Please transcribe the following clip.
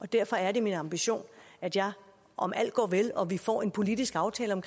derfor er det min ambition at jeg om alt går vel og vi får en politisk aftale om